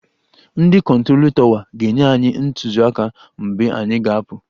Ndị kụntrolu tọwa ga-enye anyị ntụziaka mgbe anyị ga-apụ.